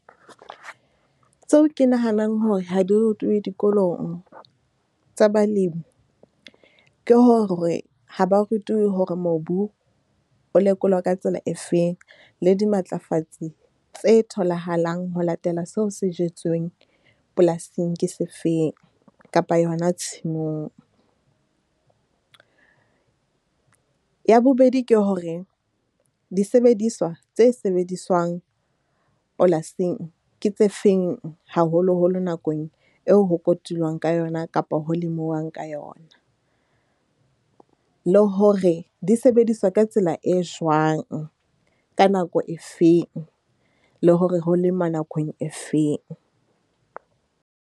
Tseo ke nahanang hore ha di rutuwe dikolong tsa balemi ke hore, ha ba rutuwe hore mobu o lekolwa ka tsela efeng. Le dimatlafatsi tse tholahalang ho latela seo se jetsweng polasing ke sefeng, kapa yona tshimong. Ya bobedi, ke hore disebediswa tse sebediswang polasing ke tse feng haholoholo nakong eo ho kotulwang ka yona kapa ho lemuwang ka yona. Le hore di sebediswa ka tsela e jwang ka nako efeng, le hore ho lema nakong efeng.